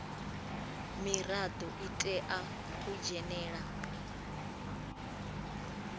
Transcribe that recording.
mirado i tea u dzhenela